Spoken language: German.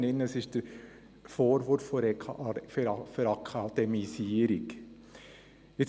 Es handelt sich um den Vorwurf der «Verakademisierung».